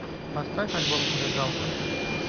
поставь альбом зажигалка